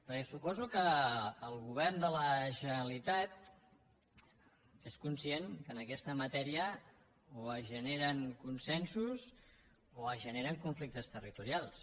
perquè suposo que el govern de la generalitat és conscient que en aquesta matèria o es generen consensos o es generen conflictes territorials